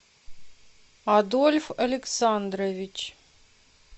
адольф александрович